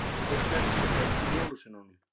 Teiknarinn sem féll fyrir jólasveinunum